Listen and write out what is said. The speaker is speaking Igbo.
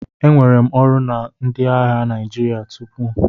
Enwere m ọrụ na ndị agha Naijiria tupu.